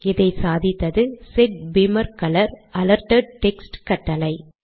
இதை சாதித்தது set beamer colour - alerted text கட்டளை